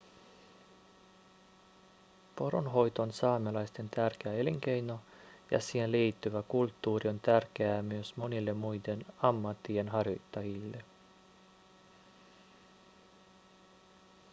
poronhoito on saamelaisten tärkeä elinkeino ja siihen liittyvä kulttuuri on tärkeää myös monille muiden ammattien harjoittajille